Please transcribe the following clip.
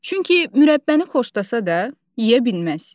Çünki mürəbbəni xoşlasa da, yeyə bilməz.